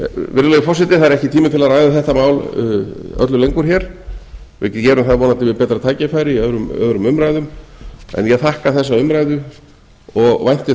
virðulegi forseti það er ekki tími til að ræða þetta mál öllu lengur hér við gerum það vonandi við betra tækifæri í öðrum umræðum en ég þakka þessa umræðu og vænti þess